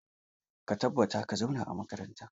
Ka tabbata ka zauna a makaranta!